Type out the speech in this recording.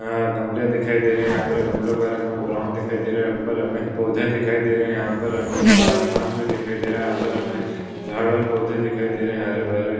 यहा गमले दिखाई दे रहे है। यहा पर गमलों का रंग हमे ब्राउन दिखाई दे रहा है। ऊपर हमे पौधे दिखाई दे रहे है । यहापर हमे खुला आसमान भी दिखाई दे रहा है। यहा पर हमे झाड और पौधे दिखाई दे रहे है। हरे भरे--